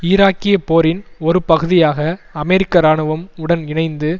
ஈராக்கிய போரின் ஒரு பகுதியாக அமெரிக்க இராணுவம் உடன் இணைந்து